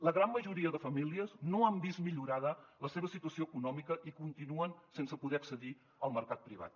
la gran majoria de famílies no han vist millorada la seva situació econòmica i continuen sense poder accedir al mercat privat